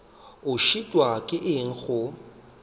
o šitwa ke eng go